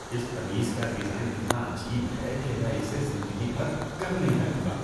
اس قمیص کا ڈیزائن اتنا عجیب ہے کہ میں اسے زندگی بھر کبھی نہیں پہنوں گا۔